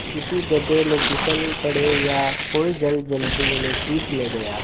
किसी गढ़े में फिसल पड़े या कोई जलजंतु उन्हें खींच ले गया